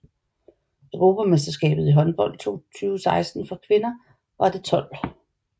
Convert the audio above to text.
Europamesterskabet i håndbold 2016 for kvinder var det 12